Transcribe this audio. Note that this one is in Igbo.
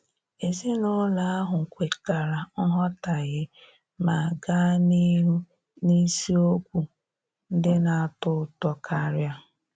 Ezinụlọ ahụ kwetara nghọtahie ma gaa n'ihu n'isiokwu ndị na-atọ ụtọ karia.